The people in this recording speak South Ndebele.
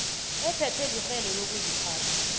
ephethwe lirhelo lokuziphatha